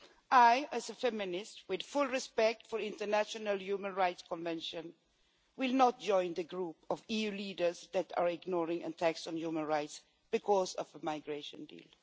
I, as a feminist, with full respect for international human rights conventions, will not join the group of EU leaders that are ignoring attacks on human rights because of a migration deal.